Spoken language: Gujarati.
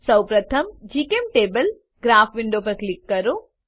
સૌ પ્રથમ જીચેમ્ટેબલ ગ્રાફ વિન્ડો પર ક્લિક કરો